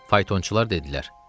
Faytonçular dedilər: